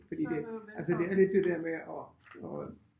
Fordi det altså det er lidt det der med at at øh